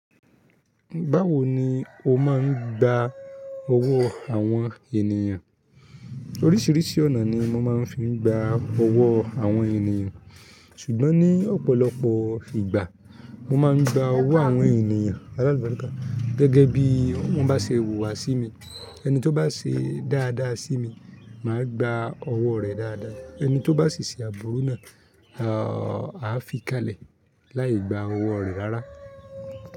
Báwo ni o máa ń gba ọwọ́ àwọn ènìyàn? Oríṣiríṣi ọ̀nà ni mo máa ń fi gba ọwọ́ àwọn ènìyàn. Ṣùgbọ́n ní ọ̀pọ̀lọpọ̀ ìgbà, mo máa ń gba ọwọ́ àwọn ènìyàn alálùbáríkà. Gẹ́gẹ́ bí wọ́n bá ṣe hùwà sí mi, ẹni tó bá ṣe dáadáa sí mi, màá gba ọwọ́ rẹ̀ dáadáa. Ẹni tó bá ṣe àbúrú náà, a á fi í kalẹ̀, láì gba ọwọ́ rẹ̀ rárá.